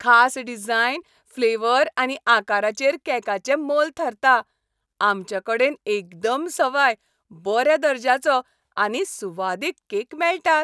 खास design, flavour आनी आकाराचेर केकाचें मोल थारता. आमचें कडेन एकदम सवाय, बऱ्या दर्ज्याचो आनी सुवादीक केक मेळटात.